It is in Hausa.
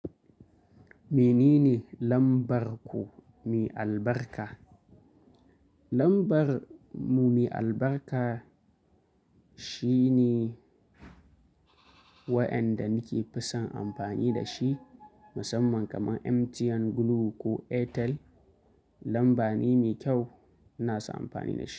Menene lambar ku me albarka? Lambar mu me albarka shine waɗanda nake fi son amfani da shi musamman kamar MTN, Glo ko Airtel. Lamba ne mai kyau ina son amfani da shi.